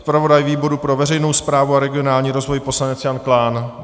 Zpravodaj výboru pro veřejnou správu a regionální rozvoj poslanec Jan Klán?